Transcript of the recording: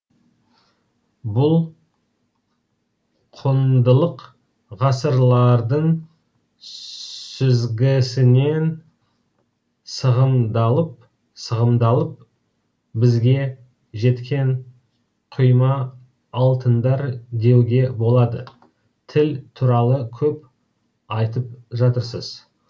бұл құндылық ғасырлардың сүзгісінен сығымдалып сығымдалып бізге жеткен құйма алтындар деуге болады тіл туралы көп айтып жатырсыз